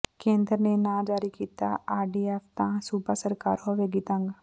ਕੇਂਦਰ ਨੇ ਨਾ ਜਾਰੀ ਕੀਤਾ ਆਰਡੀਐੱਫ ਤਾਂ ਸੂਬਾ ਸਰਕਾਰ ਹੋਵੇਗੀ ਤੰਗ